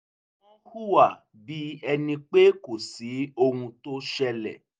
wọ́n hùwà bí ẹni pé kò sí ohuntó ṣẹlẹ̀